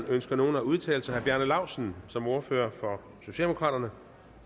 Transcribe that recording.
ønsker nogen at udtale sig herre bjarne laustsen som ordfører for socialdemokraterne